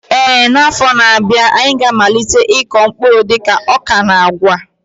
Ee, n'afọ na-abịa, anyị ga-amalite ịkụ mkpụrụ dịka ọka na agwa.